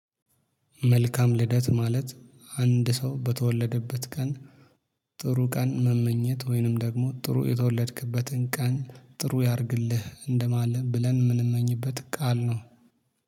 መልካም ልደት ማለት አንድ ሰው በተወለደበት ቀን ጥሩ ቀን መመኘት ወይንም ደግሞ ጥሩ የተወለድክበትን ቀን ጥሩ ያርግልህ እንደማለም ብለን የምንመኝበት ቃል ነው